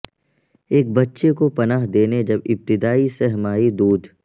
ایک بچے کو پناہ دینے جب ابتدائی سہ ماہی دودھ